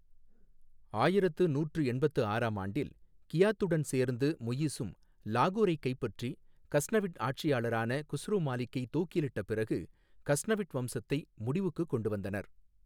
ஆயிரத்து நூற்று எண்பத்து ஆறாம் ஆண்டில், கியாத்துடன் சேர்ந்து முயிஸும் லாகூரைக் கைப்பற்றி, கஸ்னவிட் ஆட்சியாளரான குஸ்ரு மாலிக்கை தூக்கிலிட்ட பிறகு கஸ்னவிட் வம்சத்தை முடிவுக்குக் கொண்டு வந்தனர்.